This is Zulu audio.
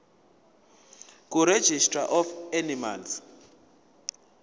kuregistrar of animals